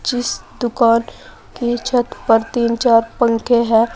जिस दुकान के छत पर तीन चार पंखे हैं।